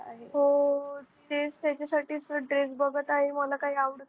हो तेच त्याच्यासाठीच त dress बगत आहे मला काही आवडतच.